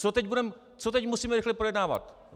Co teď budeme, co teď musíme rychle projednávat?